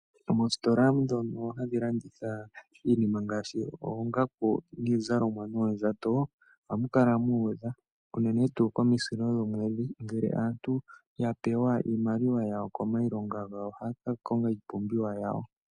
Moositola ndhono hadhi landitha iinima ngaashi oongaku, niizalomwa noondjato, ohamu kala muudha unene tuu komisilo dhomwedhi ngele aantu yapewa iimaliwa yawo komayilonga gawo ohaya ka konga iipumbiwa yawo.